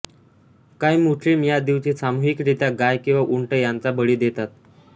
काही मुस्लिम या दिवशी सामुहिकरित्या गाय किवा उंट यांचा बळी देतात